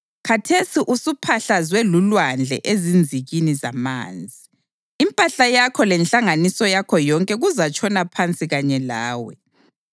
Khathesi usuphahlazwe lulwandle ezinzikini zamanzi: impahla yakho lenhlanganiso yakho yonke kuzatshona phansi kanye lawe.